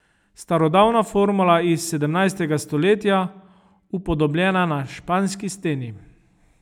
Starodavna formula iz sedemnajstega stoletja, upodobljena na španski steni.